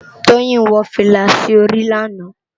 Toyin wò filá si óri làná